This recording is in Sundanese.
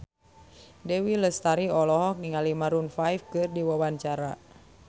Dewi Lestari olohok ningali Maroon 5 keur diwawancara